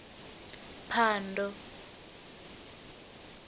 phando